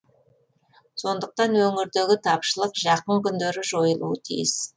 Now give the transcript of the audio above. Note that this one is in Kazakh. сондықтан өңірдегі тапшылық жақын күндері жойылуы тиіс